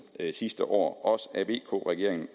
sidste år også af vk regeringen